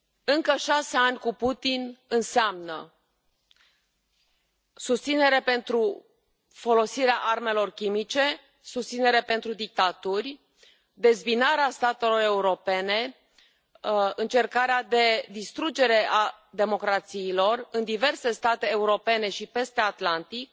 Încă șase ani cu Putin înseamnă susținere pentru folosirea armelor chimice, susținere pentru dictaturi, dezbinarea statelor europene, încercarea de distrugere a democrațiilor în diverse state europene și peste Atlantic